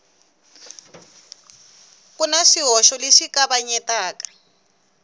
ku na swihoxo leswi kavanyetaka